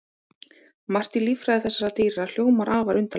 Margt í líffræði þessara dýra hljómar afar undarlega.